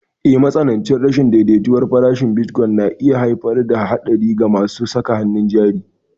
Eh, matsanancin rashin daidaituwar farashin bitcoin na iya haifar da haɗari ga masu saka hannun jari.